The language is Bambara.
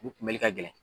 U kunbɛli ka gɛlɛn